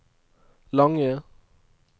lange